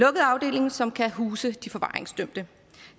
afdeling som kan huse de forvaringsdømte